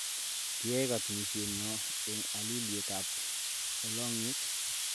Kiyae katunishennyo eng haliyet ab lalongiet